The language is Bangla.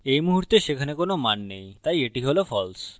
at মুহুর্তে সেখানে কোনো মান নেইতাই at হল false